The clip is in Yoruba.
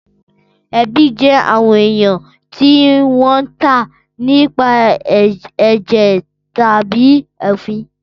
Ẹbi jẹ awọn eyàn ti won tàn nipasẹ ẹjẹ tàbí òfín.